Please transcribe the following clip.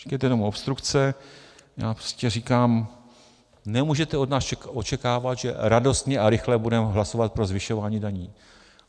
Říkejte jenom obstrukce, já prostě říkám, nemůžete od nás očekávat, že radostně a rychle budeme hlasovat pro zvyšování daní.